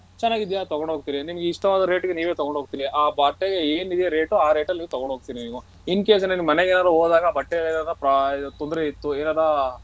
ಚೆನ್ನಾಗಿದೀಯಾ ತಗೊಂಡೋಗ್ತಿರಿ ನಿಮಗೆ ಇಷ್ಟ ಅದ rate ಗೆ ನೀವು ತಗೊಂಡ್ ಹೋಗತಿರಿ ಆ ಬಟ್ಟೆಗೆ ಏನಿದೆ rate ಆ rate ಅಲ್ಲಿ ನೀವ್ ತಗೊಂಡು ಹೋಗ್ತೀರಿ ನೀವ್ incase ಏನಾದ್ರು ನೀವ್ ಮನೆಗೇನಾದ್ರು ಹೋದಾಗ ಬಟ್ಟೆ ತೊಂದ್ರೆ ಇತ್ತು ಏನಾರ.